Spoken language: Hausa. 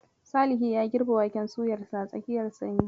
Salihi ya girbe waken suyarsa a tsakiyar sanyi.